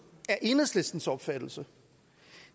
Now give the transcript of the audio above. er enhedslistens opfattelse